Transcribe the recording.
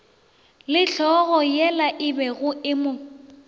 le hlogoyela ebego e mo